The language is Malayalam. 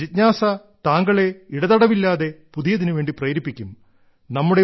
ജിജ്ഞാസ താങ്കളെ ഇടതടവില്ലാതെ പുതിയതിനു വേണ്ടി പ്രേരിപ്പിക്കും